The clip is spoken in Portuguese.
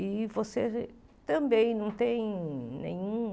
E você também não tem nenhum...